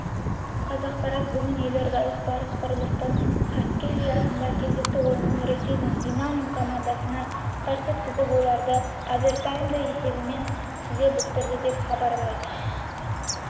қазақпарат бүгін елордалық барыс құрлықтық хоккей лиасындағы кезекті ойынын ресейдің динамо командасына қарсы өткізіп оларды овертаймда есебімен тізе бүктірді деп хабарлайды